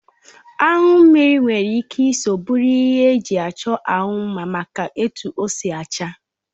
Anyu mmiri nwere ike Isọ bụrụ ihe eji achọ ahụ mma maka etu ọ si acha.